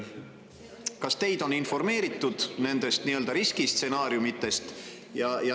Kas teid on informeeritud nendest nii-öelda riskistsenaariumidest?